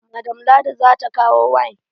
Madam ladi zata kawo wine.